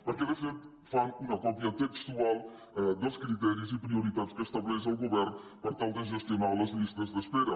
perquè de fet fan una còpia textual dels criteris i de les prioritats que estableix el govern per tal de gestionar les llistes d’espera